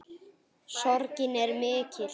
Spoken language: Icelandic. Sorgin er mikill.